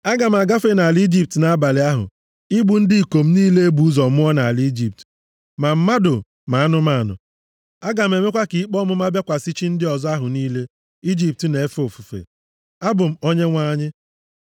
“Aga m agafe nʼala Ijipt nʼabalị ahụ, igbu ndị ikom niile e bụ ụzọ mụọ nʼala Ijipt, ma mmadụ, ma anụmanụ. Aga m emekwa ka ikpe ọmụma bịakwasị chi ndị ọzọ ahụ niile Ijipt na-efe ofufe. Abụ m Onyenwe anyị.